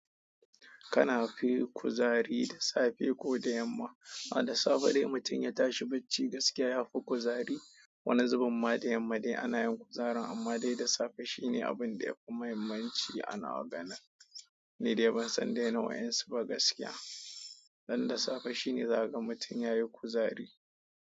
Kana fi kuzari da safe ko da yamma? A da safe dai mutum ya tashi bacci gaskiya ya fi kuzari. Wani zubim ma da yamma dai ana yin kuzarin amma dai da safe shine abin da ya fi muhimmanci ana ganin. Nidai ban san dai na wayansu ba gaskiya dan da safe shine za ka ga mutum ya yi kuzari.